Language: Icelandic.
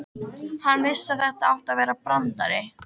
Hann vissi að þetta átti að vera brandari.